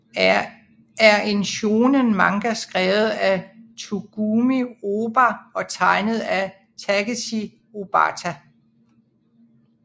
er en shōnen manga skrevet af Tsugumi Ohba og tegnet af Takeshi Obata